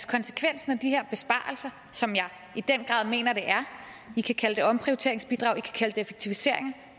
konsekvensen af de her besparelser som jeg i den grad mener det er vi kan kalde det for omprioriteringsbidrag vi kan det effektiviseringer